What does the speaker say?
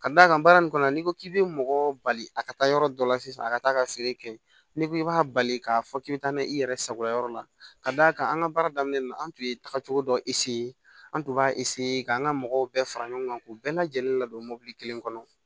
Ka d'a kan baara in kɔnɔ n'i ko k'i bɛ mɔgɔ bali a ka taa yɔrɔ dɔ la sisan a ka taa ka feere kɛ n'i ko k'i b'a bali k'a fɔ k'i bɛ taa n'a ye i yɛrɛ sagoya yɔrɔ la ka d'a kan an ka baara daminɛ na an tun ye tagacogo dɔ an tun b'a k'an ka mɔgɔw bɛɛ fara ɲɔgɔn kan k'u bɛɛ lajɛlen ladon mobili kelen kɔnɔ